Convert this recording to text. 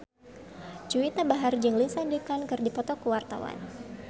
Juwita Bahar jeung Lindsay Ducan keur dipoto ku wartawan